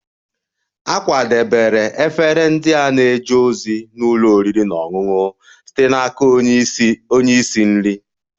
A kwadebere efere ndị a na-eje ozi n'ụlọ oriri na ọṅụṅụ site n'aka onye isi nri